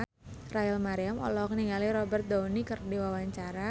Rachel Maryam olohok ningali Robert Downey keur diwawancara